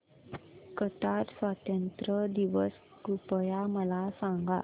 Qatar स्वातंत्र्य दिवस कृपया मला सांगा